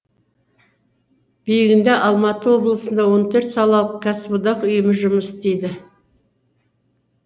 бүгінде алматы облысында он төрт салалық кәсіподақ ұйымы жұмыс істейді